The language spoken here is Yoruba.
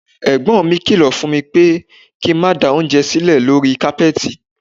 Ẹ̀gbọ́n mi kílọ̀ fún mi pé kí n má da oúnjẹ sílẹ̀ lórí kápẹ́ẹ̀tì.